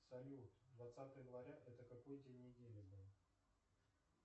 салют двадцатое января это какой день недели был